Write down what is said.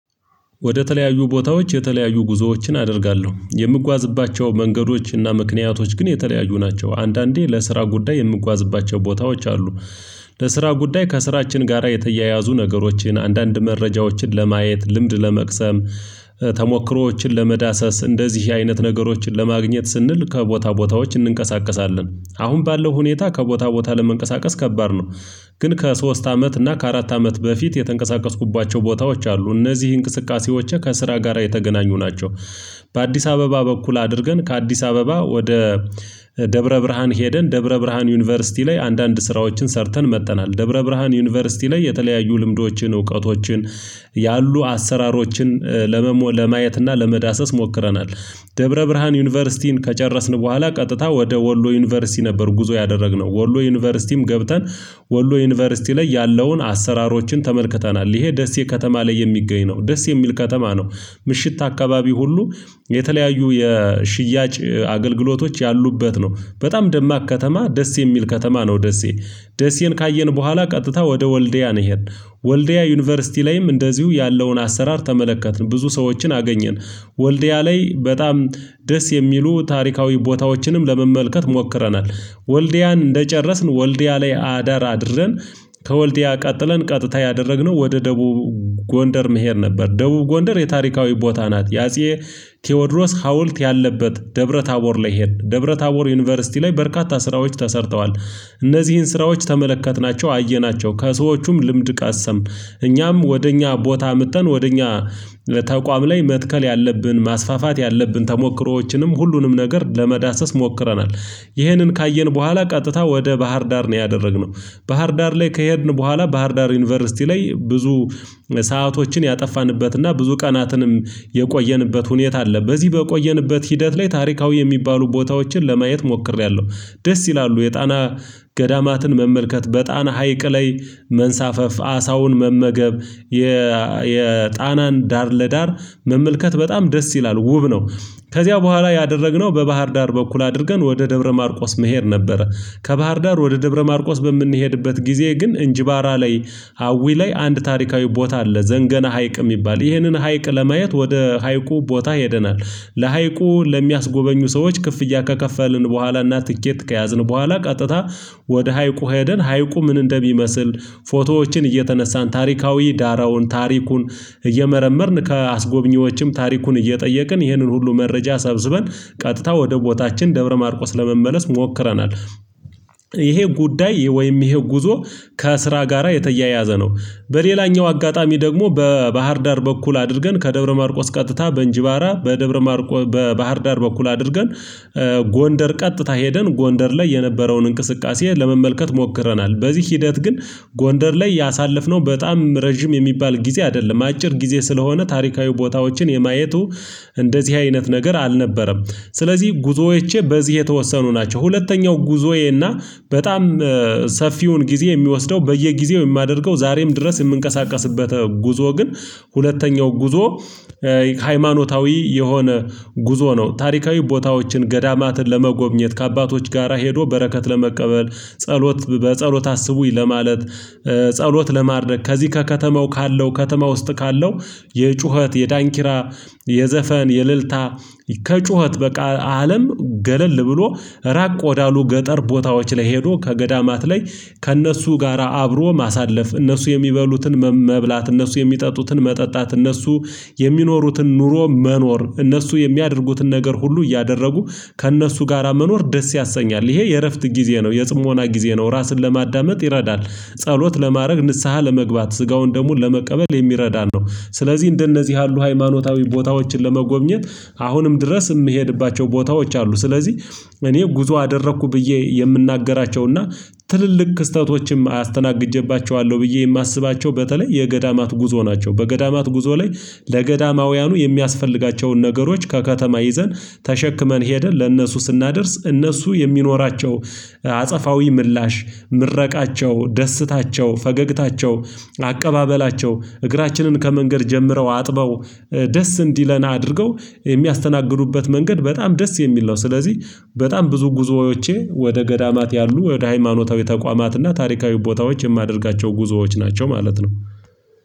ወደ ተለያዩ ቦታዎች የተለያዩ ጉዞዎችን አደርጋለሁ የምጓዝባቸው መንገዶች እና ምክንያቶች ግን የተለያዩ ናቸው አንዳንዴ ለስራ ጉዳይ የምጓዝባቸው ቦታዎች አሉ። ለስራ ጉዳይ ከስራችን ጋራ የተያያዙ ነገሮችን አንዳንድ መረጃዎችን ለማየት ልምድ ለመቅሰም ተሞክሮዎችን ለመዳሰስ እንደዚህ አይነት ነገሮችን ለማግኘት ስንል ከቦታ ቦታዎች እንንቀሳቀሳለን። አሁን ባለው ሁኔታ ከቦታ ቦታ ለመንቀሳቀስ ከባድ ነው። ግን ከሶስት አመት እና ከአራት አመት በፊት የተንቀሳቀስኩባቸው ቦታዎች አሉ እነዚህ እንቅስቃሴዎች ከስራ ጋራ የተገናኙ ናቸው። በአዲስ አበባ በኩል አድርገን ከአዲስ አበባ ወደ ደብረ ብርሃን ሄደን ደብረ ብርሃን ዩኒቨርሲቲ ላይ አንዳንድ ስራዎችን ሰርተን መጥተናል። ደብረ ብርሃን ዩኒቨርሲቲ ላይ የተለያዩ ልምዶችን እውቀቶችን ያሉ አሰራሮችን ለመሞ ለማየት እና ለመዳሰስ ሞክረናል። ደብረ ብርሃን ዩኒቨርሲቲን ከጨረስን በኋላ ቀጥታ ወደ ወሎ ዩኒቨርሲቲ ነበር ጉዞ ያደረግነው ወሎ ዩኒቨርሲቲም ገብተን። ወሎ ዩኒቨርሲቲ ላይ ያለውን አሰራሮችን ተመልክተናል ይሄ ደሴ ከተማ ላይ የሚገኝ ነው ደስ የሚል ከተማ ነው። ምሽት አካባቢ ሁሉ የተለያዩ የሽያጭ አገልግሎቶች ያሉበት ነው በጣም ደማቅ ከተማ ደስ የሚል ከተማ ነው ደሴ። ደሴን ካየን በኋላ ቀጥታ ወደ ወልደያ ሄድን። ወልደያ ዩኒቨርሲቲ ላይም እንደዚሁ ያለውን አሰራር ተመለከትን ብዙ ሰዎችን አገኘን። ወልድያ ላይ በጣም ደስ የሚሉ ታሪካዊ ቦታዎችንም ለመመልከት ሞክረናል። ወልድያን እንደጨረስን ወልድያ ላይ አዳር አድረን። ከወልዲያ ቀጥለን ቀጥታ ያደረግነው ወደ ደቡብ ጎንደር መሄድ ነበር ደቡብ ጎንደር የታሪካዊ ቦታ ናት። የአጼ ቴዎድሮስ ሀውልት ያለበት ደብረ ታቦር ላይ ይሄን ደብረ ታቦር ዩኒቨርሲቲ ላይ በርካታ ስራዎች ተሰርተዋል። እነዚህን ስራዎች ተመለከትናቸው አየናቸው ከሰዎቹም ልምድ ቀሰምን። እኛም ወደ እኛ ቦታ አምጠን ወደ እኛ ለተቋም ላይ መትከል ያለብን ማስፋፋት ያለብን ተሞክሮዎችንም ሁሉንም ነገር ለመዳሰስ ሞክረናል። ይህንን ካየን በኋላ ቀጥታ ወደ ባህር ዳር ነው ያደረግነው። ባህር ዳር ላይ ከሄድን በኋላ ባህር ዳር ዩኒቨርሲቲ ላይ ብዙ ሰአቶችን ያጠፋንበትና ብዙ ቀናትንም የቆየንበት ሁኔታ አለ። በዚህ በቆየንበት ሂደት ላይ ታሪካዊ የሚባሉ ቦታዎችን ለማየት ሞክሬያለሁ። ደስ ይላሉ የጣና ገዳማትን መመልከት በጣና ሀይቅ ላይ መንሳፈፍ አሳውን መመገብ የጣናን ዳር ለዳር መመልከት በጣም ደስ ይላል ውብ ነው። ከዚያ በኋላ ያደረግነው በባህር ዳር በኩል አድርገን ወደ ደብረ ማርቆስ መሄድ ነበረ። ከባህር ዳር ወደ ደብረ ማርቆስ በምንሄድበት ጊዜ ግን እንጅባራ ላይ ሀዊ ላይ አንድ ታሪካዊ ቦታ አለ። ዘንገና ሀይቅ የሚባል ይህንን ሀይቅ ለማየት ወደ ሀይቁ ቦታ ሄደናል። ለሀይቁ ለሚያስጎበኙ ሰዎች ክፍያ ከከፈልን በኋላ እና ትኬት ከያዝን በኋላ ቀጥታ ወደ ሀይቁ ሄደን ሀይቁ ምን እንደሚመስል? ፎቶዎችን እየተነሳን ታሪካዊ ዳራውን ታሪኩን እየመረመርን ከአስጎብኚዎችም ታሪኩን እየጠየቅን ይህንን ሁሉ መረጃ ሰብስበን ቀጥታ ወደ ቦታችን ደብረ ማርቆስ ለመመለስ ሞክረናል። ይሄ ጉዳይ ወይም ይሄ ጉዞ ከስራ ጋራ የተያያዘ ነው። በሌላኛው አጋጣሚ ደግሞ በባህር ዳር በኩል አድርገን ከደብረ ማርቆስ ቀጥታ በእንጅባራ በደብረ ማርቆስ በባህር ዳር በኩል አድርገን ጎንደር ቀጥታ ሄደን ጎንደር ላይ የነበረውን እንቅስቃሴ ለመመልከት ሞክረናል። በዚህ ሂደት ግን ጎንደር ላይ ያሳለፍነው በጣም ረጅም የሚባል ጊዜ አይደለም አጭር ጊዜ ስለሆነ ታሪካዊ ቦታዎችን የማየቱ እንደዚህ አይነት ነገር አልነበረም። ስለዚህ ጉዞዎቼ በዚህ የተወሰኑ ናቸው። ሁለተኛው ጉዞዬ እና በጣም ሰፊውን ጊዜ የሚወስደው በየጊዜው የማደርገው ዛሬም ድረስ የምንቀሳቀስበት ጉዞ ግን ሁለተኛው ጉዞ። ሃይማኖታዊ የሆነ ጉዞ ነው። ታሪካዊ ቦታዎችን ገዳማትን ለመጎብኘት ከአባቶች ጋራ ሄዶ በረከት ለመቀበል ጸሎት በጸሎት አስቡኝ ለማለት ጸሎት ለማድረግ ከዚህ ከከተማው ካለው ከተማ ውስጥ ካለው የጩኸት የዳንኪራ የዘፈን የልልታ ከጩኸት በቃ አለም ገለል ብሎ ራቅ ወዳሉ ገጠር ቦታዎች ላይ ሄዶ ከገዳማት ላይ ከእነሱ ጋራ አብሮ ማሳለፍ እነሱ የሚበሉትን መብላት እነሱ የሚጠጡትን መጠጣት እነሱ የሚኖሩትን ኑሮ መኖር እነሱ የሚያደርጉትን ነገር ሁሉ እያደረጉ ከእነሱ ጋራ መኖር ደስ ያሰኛል ይሄ የእረፍት ጊዜ ነው የጽሞና ጊዜ ነው ራስን ለማዳመጥ ይረዳል። ጸሎት ለማድረግ ንስሃ ለመግባት ስጋውን ደሙን ለመቀበል የሚረዳን ነው። ስለዚህ እንደነዚህ ያሉ ሃይማኖታዊ ቦታዎችን ለመጎብኘት አሁንም ድረስ የምሄድባቸው ቦታዎች አሉ። ስለዚህ እኔ ጉዞ አደረኩ ብዬ የምናገራቸውና ትልልቅ ክስተቶችም አስተናግጄባቸዋለሁ ብዬ የማስባቸው በተለይ የገዳማት ጉዞ ናቸው። በገዳማት ጉዞ ላይ ለገዳማውያኑ የሚያስፈልጋቸውን ነገሮች ከከተማ ይዘን ተሸክመን ሄደን ለእነሱ ስናደርስ እነሱ የሚኖራቸው አጸፋዊ ምላሽ ምረቃቸው ደስታቸው ፈገግታቸው አቀባበላቸው እግራችንን ከመንገድ ጀምረው አጥበው ደስ እንዲለና አድርገው የሚያስተናግዱበት መንገድ በጣም ደስ የሚል ነው። ስለዚህ በጣም ብዙ ጉዞዎቼ ወደ ገዳማት ያሉ ወደ ሃይማኖታዊ ተቋማትና ታሪካዊ ቦታዎች የማደርጋቸው ጉዞዎች ናቸው። ማለት ነው